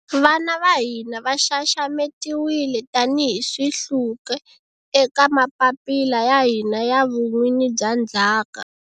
Vana va hina va xaxametiwile tanihi swihluke eka mapapila ya hina ya vun'wini bya ndzhaka.